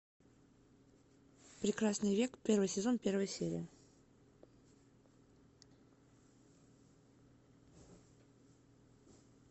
прекрасный век первый сезон первая серия